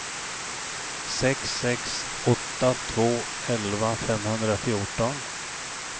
sex sex åtta två elva femhundrafjorton